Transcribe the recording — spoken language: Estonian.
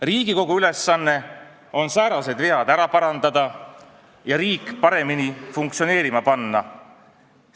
Riigikogu ülesanne on säärased vead ära parandada ja riik paremini funktsioneerima panna.